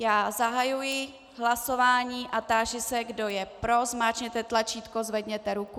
Já zahajuji hlasování a táži se, kdo je pro, zmáčkněte tlačítko, zvedněte ruku.